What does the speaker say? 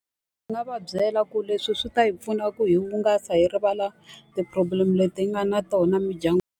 Ndzi nga va byela ku leswi swi ta hi pfuna ku hi hungasa, hi rivala ti-problem leti hi nga na tona .